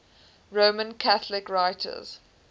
roman catholic writers